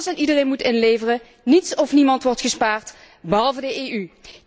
Alles en iedereen moet inleveren, niets of niemand wordt gespaard, behalve de EU.